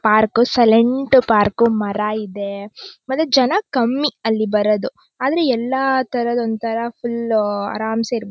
park silent park ಮರ ಇದೆ ಮತ್ತೆ ಜನ ಕಮ್ಮಿ ಅಲ್ಲಿ ಬರದು ಆದರೆ ಎಲ್ಲಾ ಥರ ಒಂಥರಾ ಫುಲ್ ಅರಾಮ್ಸೇ--